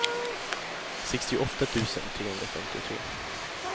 sextioåtta tusen trehundrafemtiotre